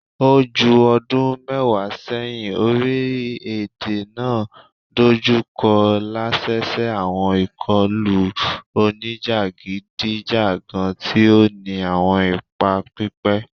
O ju ọdun mẹwa sẹhin, orilẹ-ede naa dojukọ lẹsẹsẹ awọn ikọlu onijagidijagan ti o ni awọn ipa pipẹ